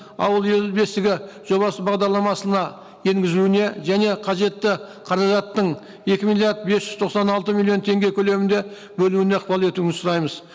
ауыл ел бесігі жобасы бағдарламасына енгізуіне және қажетті қаражаттың екі миллиард бес жүз тоқсан алты миллион теңге көлемінде бөлуіне ықпал етуіңізді сұраймыз